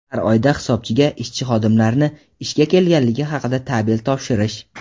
har oyda hisobchiga ishchi-xodimlarni ishga kelganligi haqida tabel topshirish;.